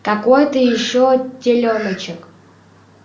какой-то ещё телёночек